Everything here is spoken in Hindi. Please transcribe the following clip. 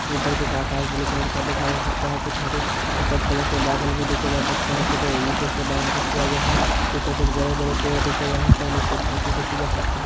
ऊपर कुछ आकाश ब्लू कलर का देखा जा सकता है। कुछ हरे सफेद कलर के बादल भी देखे जा सकते है। कुछ ईटों से बाउंडरी किया गया है। पीछे कुछ बड़े- बड़े पेड़ देखे जा सकते है। नीचे धरती देखी जा सकती है।